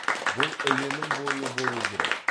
бұл іленің бойы болу керек